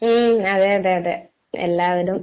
ഏയ്‌... അതെ അതെ അതെ. എല്ലാവരും